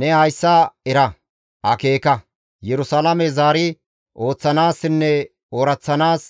«Ne hayssa era, akeeka; Yerusalaame zaari ooththanaassinne ooraththanaas